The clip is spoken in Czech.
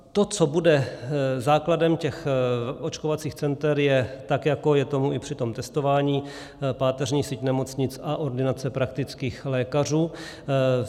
To, co bude základem těch očkovacích center, je, tak jako je tomu i při tom testování, páteřní síť nemocnic a ordinace praktických lékařů.